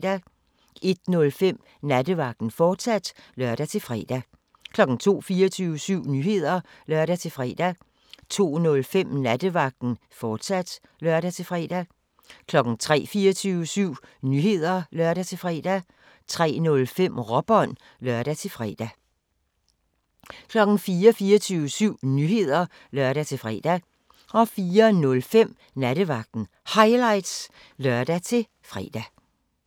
01:05: Nattevagten, fortsat (lør-fre) 02:00: 24syv Nyheder (lør-fre) 02:05: Nattevagten, fortsat (lør-fre) 03:00: 24syv Nyheder (lør-fre) 03:05: Råbånd (lør-fre) 04:00: 24syv Nyheder (lør-fre) 04:05: Nattevagten Highlights (lør-fre)